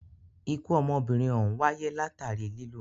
Ikú ọmọbìnrin òhún wáyé látàri lilù.